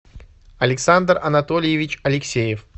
александр анатольевич алексеев